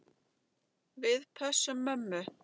Við pössum mömmu.